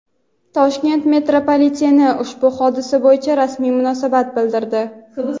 "Toshkent metropoliteni" ushbu hodisa bo‘yicha rasmiy munosabat bildirdi.